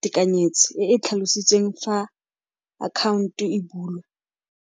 tekanyetso e e tlhalositsweng fa account-o e bulwa.